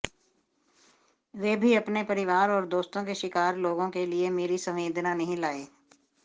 वे भी अपने परिवार और दोस्तों के शिकार लोगों के लिए मेरी संवेदना नहीं लाए